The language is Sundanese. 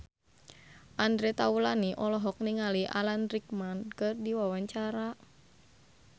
Andre Taulany olohok ningali Alan Rickman keur diwawancara